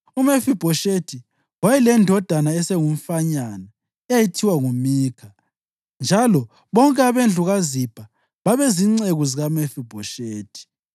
UMefibhoshethi wayelendodana esengumfanyana eyayithiwa nguMikha, njalo bonke abendlu kaZibha babezinceku zikaMefibhoshethi.